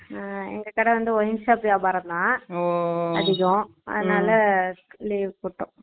அஹ் எங்க கடை wineshop வியாபரம் தான் Noise அதிகம் அதுனால leave போட்டுட்டோம்